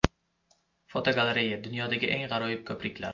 Fotogalereya: Dunyodagi eng g‘aroyib ko‘priklar.